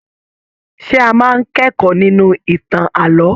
Ṣe a máa n kẹ̀kọ́ nínú ìtàn ààlọ́?